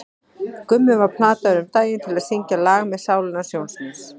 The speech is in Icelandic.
Gummi var plataður um daginn til að syngja lag með Sálinni hans Jóns míns.